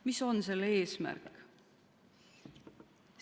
Mis on selle eesmärk?